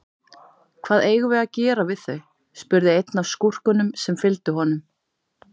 Hvað eigum við að gera við þau, spurði einn af skúrkunum sem fylgdu honum.